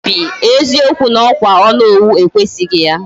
Obi, eziokwu na okwa Onowu ekwesighi ya.